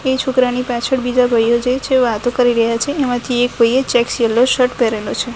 એ છોકરાની પાછળ બીજા ભાઈઓ જે છે વાતો કરી રહ્યા છે એમાથી એક ભાઈએ ચેક્સ યેલો શર્ટ પહેરેલો છે.